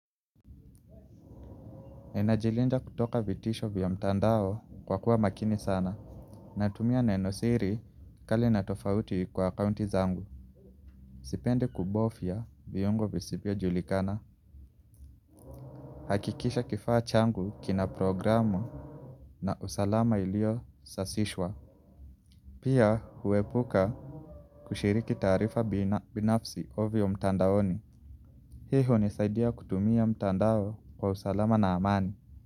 Nina jilinda kutoka vitisho vya mtandao kwa kuwa makini sana. Natumia neno siri kali na tofauti kwa akaunti zangu. Sipendi kubofya viungo visivyo julikana. Hakikisha kifaa changu kina programu na usalama ilio sasishwa. Pia huepuka kushiriki taarifa binafsi ovyo mtandaoni. Hiyo nisaidia kutumia mtandao kwa usalama na amani.